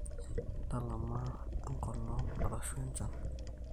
Ntalama enkolong arashu enchan.